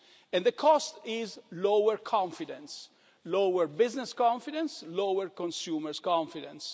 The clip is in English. a cost. And the cost is lower confidence lower business confidence and lower consumer confidence.